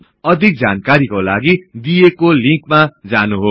अधिक जानकारीका लागि दिईएको लिन्कमा जानुहोस्